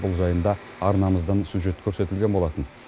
бұл жайында арнамыздан сюжет көрсетілген болатын